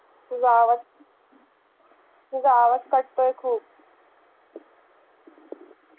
तुझा आवाज तुझा आवाज खूप.